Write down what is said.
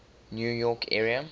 new york area